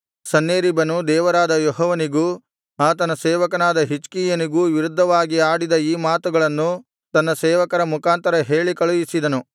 ಸನ್ಹೇರೀಬನು ದೇವರಾದ ಯೆಹೋವನಿಗೂ ಆತನ ಸೇವಕನಾದ ಹಿಜ್ಕೀಯನಿಗೂ ವಿರುದ್ಧವಾಗಿ ಆಡಿದ ಈ ಮಾತುಗಳನ್ನು ತನ್ನ ಸೇವಕರ ಮುಖಾಂತರ ಹೇಳಿ ಕಳುಹಿಸಿದನು